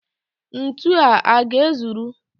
Ntu a ga-ezuru?